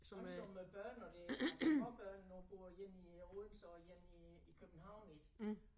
Sådan som øh børn og det altså småbørnene også bor inde i Odense og inde i i København ik